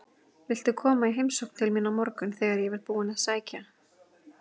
Viltu koma í heimsókn til mín á morgun þegar ég verð búinn að sækja